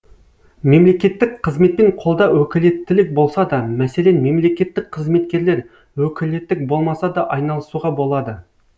мемлекеттік қызметпен қолда өкілеттілік болса да мәселен мемлекеттік қызметкерлер өкілеттік болмаса да айналысуға болады